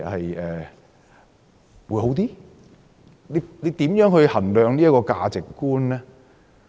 如何衡量這個價值觀呢？